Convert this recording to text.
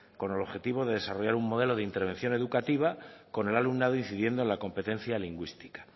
con el objetivo de desarrollar un modelo de intervención educativa con el alumnado incidiendo en la competencia lingüística